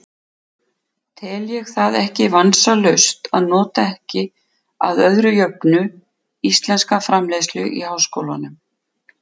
Tel ég það ekki vansalaust að nota ekki, að öðru jöfnu, íslenska framleiðslu í háskólann.